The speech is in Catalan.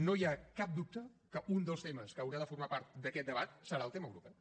no hi ha cap dubte que un dels temes que haurà de formar part d’aquest debat serà el tema europeu